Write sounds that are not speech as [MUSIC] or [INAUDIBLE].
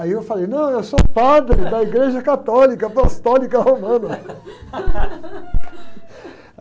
Aí eu falei, não, eu sou padre da igreja católica, apostólica romana. [LAUGHS]